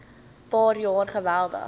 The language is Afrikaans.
paar jaar geweldig